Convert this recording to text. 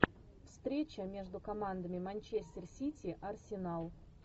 встреча между командами манчестер сити арсенал